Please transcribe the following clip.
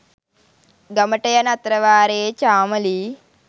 ගමට යන අතරවාරයේ චාමලී